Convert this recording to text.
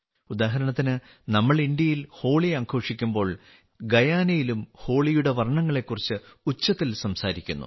ഉദാഹരണത്തിന് നമ്മൾ ഇന്ത്യയിൽ ഹോളി ആഘോഷിക്കുമ്പോൾ ഗയാനയിലും ഹോളിയുടെ വർണ്ണങ്ങളെക്കുറിച്ചു ഉച്ചത്തിൽ സംസാരിക്കുന്നു